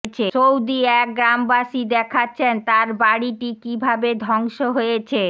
Saudi এক গ্রামবাসী দেখাচ্ছেন তার বাড়িটি কিভাবে ধ্বংস হয়েছে